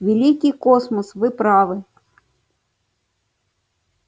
великий космос вы правы